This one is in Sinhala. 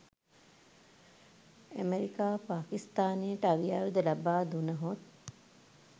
ඇමෙරිකාව පාකිස්තානයට අවි ආයුධ ලබාදුන්නහොත්